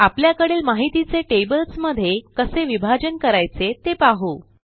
आपल्याकडील माहितीचे tablesमध्ये कसे विभाजन करायचे ते पाहू